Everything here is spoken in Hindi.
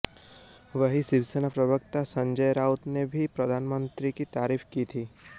वहीँ शिवसेना प्रवक्ता संजय राउत ने भी प्रधानमंत्री की तारीफ़ की थी